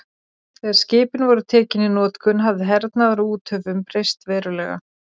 þegar skipin voru tekin í notkun hafði hernaður á úthöfum breyst verulega